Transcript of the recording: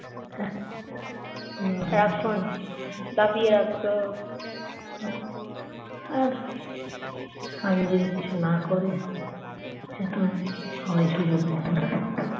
আর স্বামী যদি কিছু না করে সে তো সবাই সুযোগ নেবে না